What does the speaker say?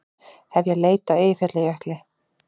Hefja leit á Eyjafjallajökli